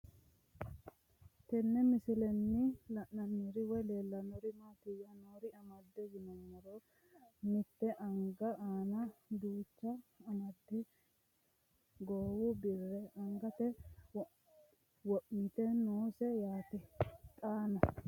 Tenne misilenni la'nanniri woy leellannori maattiya noori amadde yinummoro mitte anga aanna duucha goowu birre angatte wo'mitte noosi yaatte xaanno